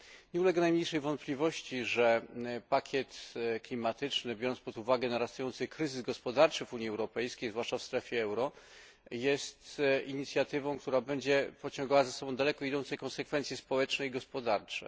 Nie ulega najmniejszej wątpliwości, że pakiet klimatyczny, biorąc pod uwagę narastający kryzys gospodarczy w Unii Europejskiej, zwłaszcza w strefie euro, jest inicjatywą, która będzie pociągała za sobą daleko idące konsekwencje społeczne i gospodarcze.